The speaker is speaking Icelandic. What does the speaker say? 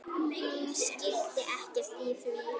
Hún skildi ekkert í því.